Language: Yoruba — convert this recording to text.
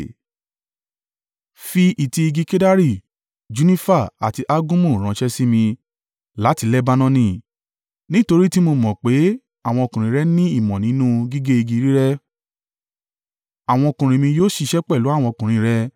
“Fi ìtì igi kedari, junifa àti algumu ránṣẹ́ sí mi, láti Lebanoni, nítorí tí mo mọ̀ pé àwọn ọkùnrin rẹ ní ìmọ̀ nínú gígé igi rírẹ́. Àwọn ọkùnrin mi yóò ṣiṣẹ́ pẹ̀lú àwọn ọkùnrin rẹ.